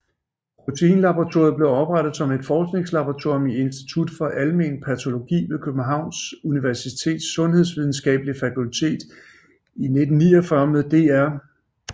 Proteinlaboratoriet blev oprettet som et forskningslaboratorium i Institut for Almen Patologi ved Københavns Universitets Sundhedsvidenskabelige Fakultet i 1949 med dr